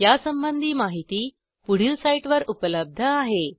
यासंबंधी माहिती पुढील साईटवर उपलब्ध आहे